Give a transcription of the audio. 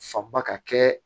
Fanba ka kɛ